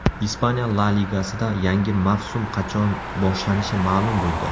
Ispaniya La Ligasida yangi mavsum qachon boshlanishi ma’lum bo‘ldi !